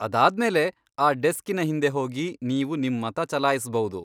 ಆದಾದ್ಮೇಲೆ, ಆ ಡೆಸ್ಕಿನ ಹಿಂದೆ ಹೋಗಿ ನೀವು ನಿಮ್ ಮತ ಚಲಾಯಿಸ್ಬೌದು.